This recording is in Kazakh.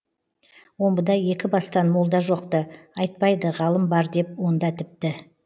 омбыда екі бастан молда жоқ ты айтпайды ғалым бар деп онда тіпті